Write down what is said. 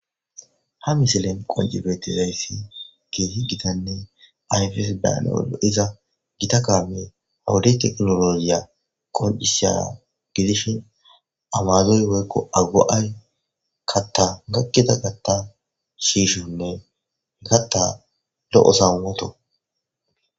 Ha misilen qonjibetizayssi geesi gitanne ayfes bayanaodo iza gita kaame hoodi teknologiya qoncisha gidishin amazoy woykko agu7ay katta maqqida gatta shiishonne he katta lo'o samwoto.